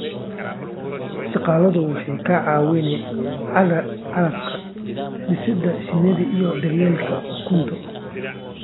Shaqaaluhu waxay ka caawiyaan calafka, dhisidda shinnida iyo daryeelka ukunta.